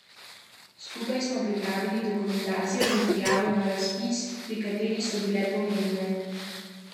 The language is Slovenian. Skupaj smo pripravili dokumentacijo za prijavo na razpis, pri kateri so bile pomembne zlasti reference.